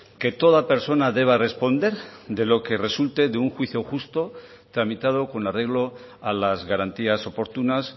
que toda persona deba responder de lo que resulte de un juicio justo tramitado con arreglo a las garantías oportunas